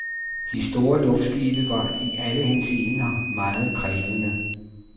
De store luftskibe var i alle henseender meget krævende.